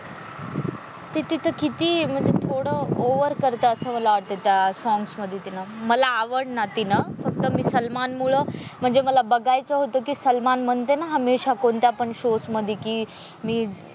ते तिथं किती म्हणजे थोडं ओव्हर करतो असं मला वाटत त्या सॉंग्स मध्ये तिने मला आवडेना तीन फक्त मी सलमान मुले म्हणजे मला बघायचं होत कि सलमान म्हणते ना हमेशा कोणत्या पण शोस मध्ये कि मी,